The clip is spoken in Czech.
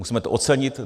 Musíme to ocenit.